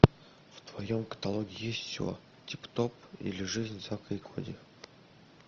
в твоем каталоге есть все тип топ или жизнь зака и коди